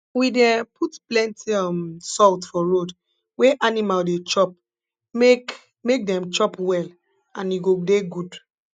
we dey um put plenti um salt for road wey animal dey chop make make dem chop well and e go dey good